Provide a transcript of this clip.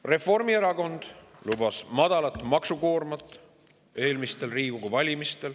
Reformierakond lubas eelmistel Riigikogu valimistel madalat maksukoormust.